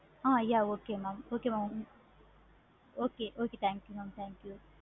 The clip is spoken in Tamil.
ah yeah okay mam okay thank you mam thank you